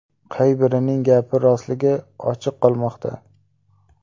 Qay birining gapi rostligi ochiq qolmoqda.